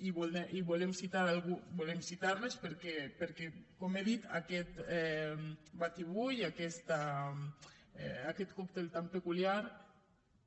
i volem citarles perquè com he dit aquest batibull aquest còctel tan peculiar